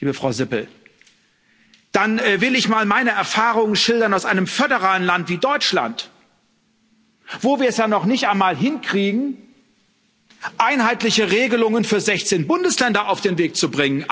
liebe Frau Sippel, dann will ich mal meine Erfahrungen schildern aus einem föderalen Land wie Deutschland, wo wir es noch nicht einmal hinkriegen, einheitliche Regelungen für 16 Bundesländer auf den Weg zu bringen.